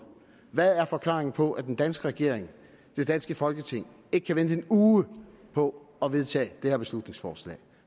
hvad er forklaringen på at den danske regering det danske folketing ikke kan vente en uge på at vedtage det her beslutningsforslag